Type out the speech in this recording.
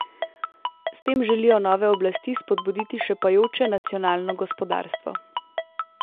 S tem želijo nove oblasti spodbuditi šepajoče nacionalno gospodarstvo.